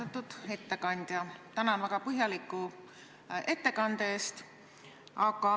Austatud ettekandja, tänan väga põhjaliku ettekande eest!